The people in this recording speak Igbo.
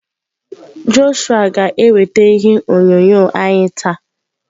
Joshua ga-eweta ihe onyonyo anyị taa.